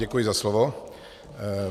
Děkuji za slovo.